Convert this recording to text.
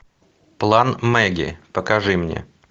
план мэгги покажи мне